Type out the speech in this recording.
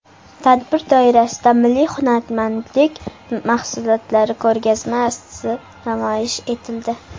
Tadbir doirasida milliy hunarmandlik mahsulotlari ko‘rgazmasi namoyish etildi.